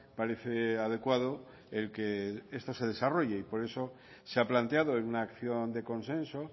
parece adecuado el que esto se desarrolle y por eso se ha planteado en una acción de consenso